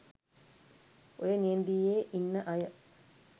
ඔය නියැදියේ ඉන්න අය